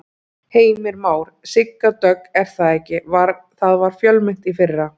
Heimir Már: Sigga Dögg er það ekki, það var fjölmennt í fyrra?